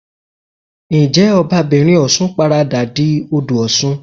Ǹjẹ́ Ọba'bìnrin Ọ̀ṣun paradà di Odò Ọ̀ṣun?